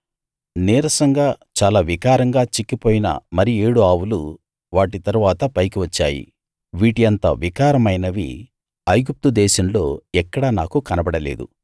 నీరసంగా చాలా వికారంగా చిక్కిపోయిన మరి ఏడు ఆవులు వాటి తరువాత పైకి వచ్చాయి వీటి అంత వికారమైనవి ఐగుప్తు దేశంలో ఎక్కడా నాకు కనబడలేదు